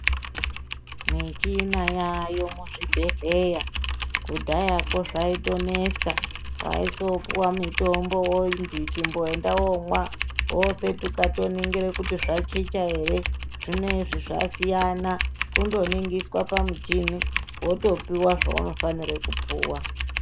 Michina yaayo muzvibhedhlera kudhayako zvayitonesa waisopuwa mitombo wonzi chimboenda womwa wopetuka toningire kuti zvachicha ere zvinezvi zvasiyana kundoningiswa pamuchini wotopuwa zvaunofanire kupuwa.